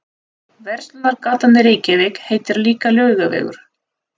Verslunargatan í Reykjavík heitir líka Laugavegur.